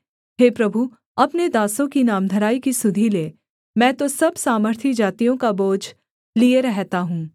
हे प्रभु अपने दासों की नामधराई की सुधि ले मैं तो सब सामर्थी जातियों का बोझ लिए रहता हूँ